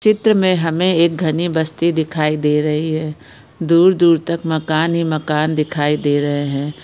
चित्र में हमें एक घने बस्ती दिखाई दे रही है दूर-दूर तक मकान ही मकान दिखाई दे रहे हैं।